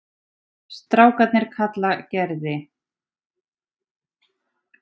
Strákarnir kalla Gerði